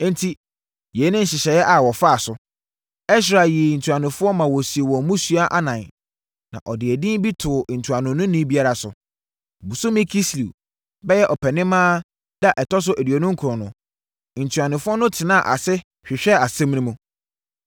Enti, yei ne nhyehyɛeɛ a wɔfaa so. Ɛsra yii ntuanofoɔ maa wɔsii wɔn mmusua anan, na ɔde edin bi too ntuanoni biara so. Bosome Kislew (bɛyɛ Ɔpɛnimaa) da a ɛtɔ so aduonu nkron no, ntuanofoɔ no tenaa ase hwehwɛɛ asɛm no mu.